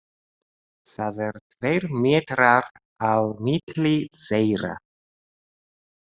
Það eru tveir metrar á milli þeirra.